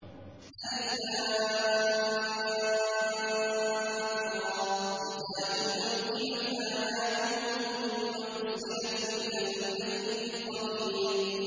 الر ۚ كِتَابٌ أُحْكِمَتْ آيَاتُهُ ثُمَّ فُصِّلَتْ مِن لَّدُنْ حَكِيمٍ خَبِيرٍ